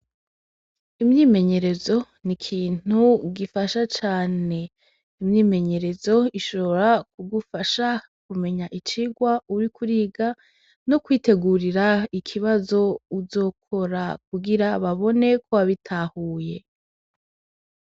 Imyimenyerezo ni ikintu gifasha cane imyimenyerezo ishobora kugufasha kumenya icigwa uriko uriga no kwitegurira ikibazo uzokora kugira babone ko wabitahuye.